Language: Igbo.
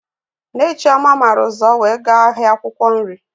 Nne Chioma màrà ụzọ wee gaa ahịa akwụkwọ nri